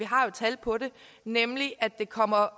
har jo tal på det nemlig at det kommer